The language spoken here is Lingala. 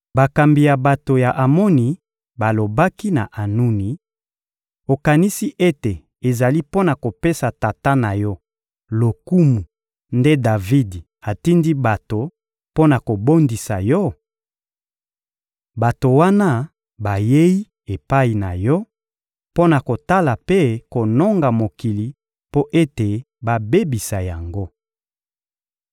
bakambi ya bato ya Amoni balobaki na Anuni: «Okanisi ete ezali mpo na kopesa tata na yo lokumu nde Davidi atindi bato mpo na kobondisa yo? Bato wana bayei epai na yo mpo na kotala mpe kononga mokili mpo ete babebisa yango.»